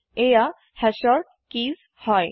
এইয়া Hashৰ কি হয়